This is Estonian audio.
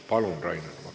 Palun, Rainer Vakra!